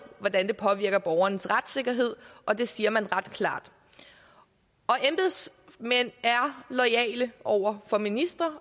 hvordan det påvirker borgernes retssikkerhed og det siger man ret klart embedsmænd er jo loyale over for ministre